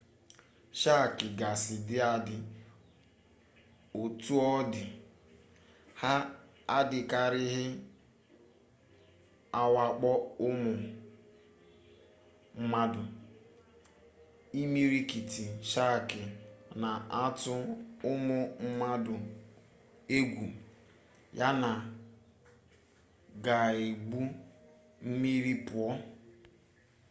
shaakị gasị dị adị otu ọ dị ha adịkarịghị awakpo ụmụ mmadụ imirikiti shaakị na-atụ ụmụ mmadụ egwu yana ga-egwu mmiri pụọ